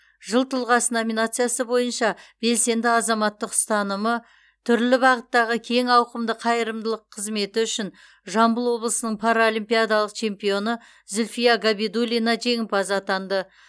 жыл тұлғасы номинациясы бойынша белсенді азаматтық ұстанымы түрлі бағыттағы кең ауқымды қайырымдылық қызметі үшін жамбыл облысының паралимпиадалық чемпионы зүльфия ғабидуллина жеңімпаз атанды